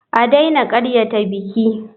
A daina karyata biki.